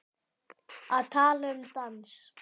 Að tala um dans